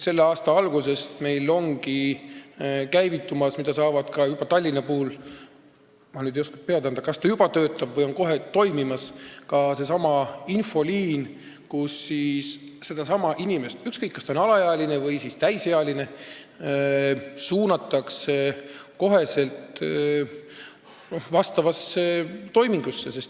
Selle aasta algusest ongi meil käivitumas infoliin – ma ei oska pead anda, kas ta Tallinnas juba töötab või on ta kohe toimima hakkamas –, mille kaudu see inimene – ükskõik, kas ta on alaealine või täisealine – suunatakse kohe teenust saama.